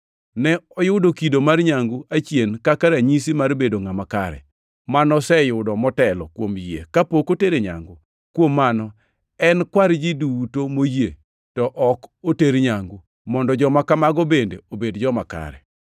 Ne oyudo kido mar nyangu achien kaka ranyisi mar bedo ngʼama kare, ma noseyudo motelo kuom yie kapok otere nyangu. Kuom mano, en kwar ji duto moyie to ok oter nyangu, mondo joma kamago bende obed joma kare.